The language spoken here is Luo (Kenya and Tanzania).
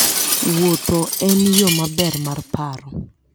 Wuotho en yo maber mar paro.